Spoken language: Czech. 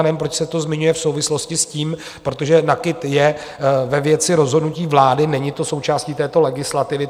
Já nevím, proč se to zmiňuje v souvislosti s tím, protože NAKIT je ve věci rozhodnutí vlády, není to součástí této legislativy.